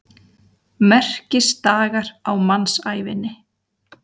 Merkisdagar á mannsævinni.